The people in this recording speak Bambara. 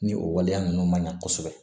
Ni o waleya ninnu man ɲa kosɛbɛ